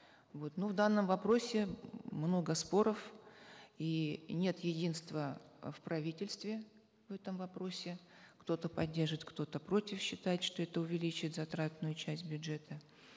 вот ну в данном вопросе много споров и нет единства э в правительстве в этом вопросе кто то поддерживает кто то против считает что это увеличит затратную часть бюджета